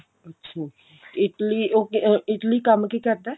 ਅੱਛਾ Italy ਉਹ ਅਹ ਕੰਮ ਕੀ ਕਰਦਾ